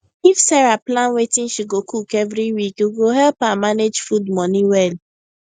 if sarah plan wetin she go cook every week e go help her manage food money well